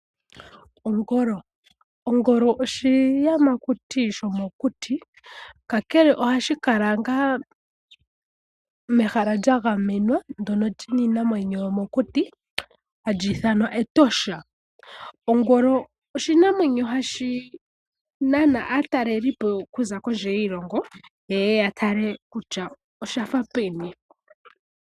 Ongolo oshiyamakuti shomokuti kakekele ohashi kala ngaa mehala lya gamenwa ndyono li na iinamwenyo yomokuti hali ithanwa Etosha. Ongolo oshinamwenyo hashi nana aatalelipo kuza kondje yiilongo ye ye ya tale kutya osha fa peni.